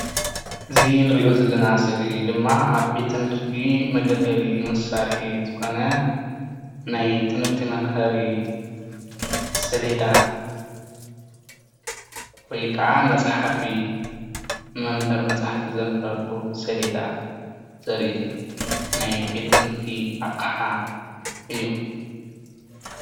እዚ እንሪኦ ዘለና ስእሊ ድማ ኣብ ቤት ቤት ትምህርቲ መገልገሊኡ መሳርሒ ዝኮነ ናይ ትምህርቲ መምሃሪ ሴሌዳ ወይ ከዓ መፅሓፊ መምህር መፅሐፊ ዘምህረሉ ሴሌዳ ዘርኢ ናይ ቤት ትምህርቲ ኣቅሓ እዩ፡፡